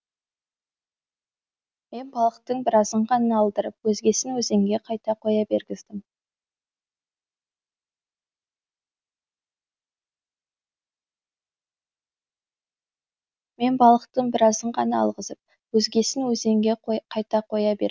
мен балықтың біразын ғана алғызып өзгесін өзенге қайта қоя бергіздім